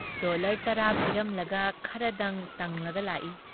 Dollar ꯇꯔꯥ ꯄꯤꯔꯝꯂꯒ ꯈꯔꯗꯪ ꯇꯪꯂꯒ ꯂꯥꯛꯏ ꯫